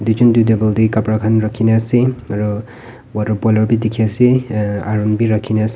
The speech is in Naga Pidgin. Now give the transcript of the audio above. duijon toh table teh kapra khan rakhi na ase aru water polar bhi dikhi ase aa iron bhi rakhi na ase.